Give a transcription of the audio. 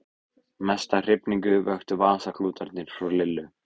Mesta hrifningu vöktu vasaklútarnir frá Lillu.